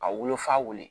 A wolofa wolo